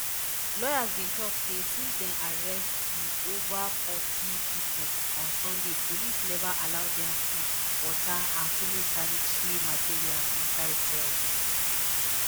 lawyers bin tok say since dem arrest di ova forty pipo on sunday police neva allow dem food water and female sanitary materials inside cells